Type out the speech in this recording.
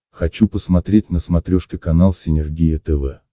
хочу посмотреть на смотрешке канал синергия тв